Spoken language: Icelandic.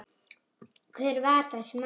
Hver var þessi maður?